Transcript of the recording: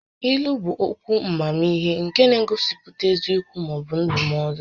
Ílú bụ okwu amamihe nke na-egosipụta eziokwu maọbụ ndụmọdụ